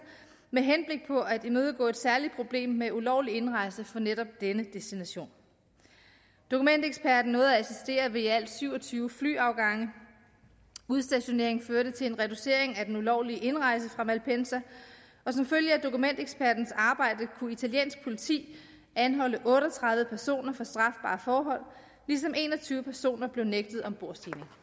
med henblik på at imødegå et særligt problem med ulovlig indrejse fra netop denne destination dokumenteksperten nåede at assistere ved i alt syv og tyve flyafgange udstationeringen førte til en reducering af den ulovlige indrejse fra malpensa og som følge af dokumentekspertens arbejde kunne italiensk politi anholde otte og tredive personer for strafbare forhold ligesom en og tyve personer blev nægtet ombordstigning